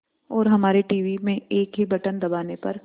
और हमारे टीवी में एक ही बटन दबाने पर